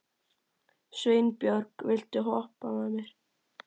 Sveinbjörg, viltu hoppa með mér?